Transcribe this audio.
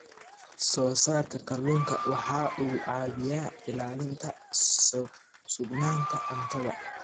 Soosaarka kalluunka waxa uu caawiyaa ilaalinta sugnaanta cuntada.